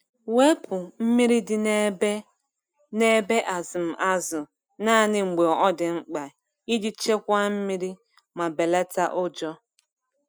Wepu mmiri dị n’ebe n’ebe azụm azụ naanị mgbe ọ dị mkpa iji chekwaa mmiri ma belata ụjọ.